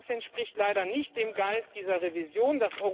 Das entspricht leider nicht dem Geist dieser Revision.